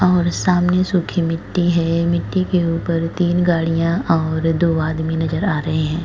और सामने सुखी मिट्टी है। मिट्टी के उपर तीन गाड़ियाँ और दो आदमी नजर आ रहे हैं ।